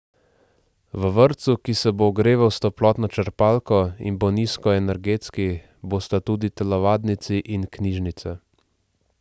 V vrtcu, ki se bo ogreval s toplotno črpalko in bo nizkoenergetski, bosta tudi telovadnici in knjižnica.